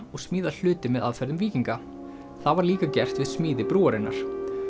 og smíða hluti með aðferðum víkinga það var líka gert við smíði brúarinnar